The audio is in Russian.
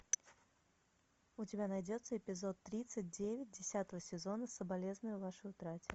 у тебя найдется эпизод тридцать девять десятого сезона соболезную вашей утрате